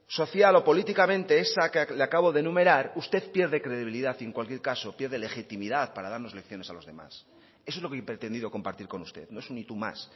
social o políticamente esa que le acabo de enumerar usted pierde credibilidad y en cualquier caso pierde legitimidad para darnos lecciones a los demás eso es lo que he pretendido compartir con usted no es un y tú más